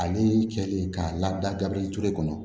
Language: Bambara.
Ani cɛ de ka labila gabi ture kɔnɔ